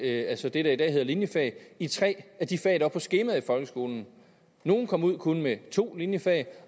altså det der i dag hedder linjefag i tre af de fag der er på skemaet i folkeskolen nogle kom kun ud med to linjefag